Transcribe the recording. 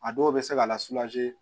A dɔw bɛ se ka lase